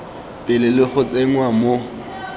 pele le go tsenngwa mo